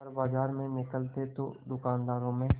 वह बाजार में निकलते तो दूकानदारों में